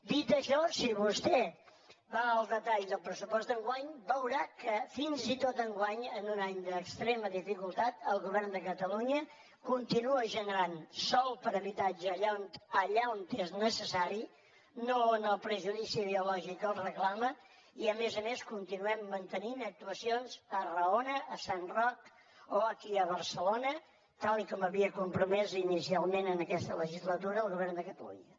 dit això si vostè va al detall del pressupost d’enguany veurà que fins i tot enguany en un any d’extrema dificultat el govern de catalunya continua generant sòl per a habitatge allà on és necessari no on el prejudici ideològic el reclama i a més a més continuem mantenint actuacions a arraona a sant roc o aquí a barcelona tal com havia compromès inicialment en aquesta legislatura el govern de catalunya